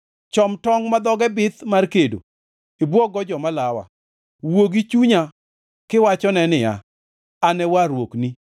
Chom tongʼ ma dhoge bith mar kedo ibwog-go joma lawa. Wuo gi chunya kiwachone niya, “An e warruokni.”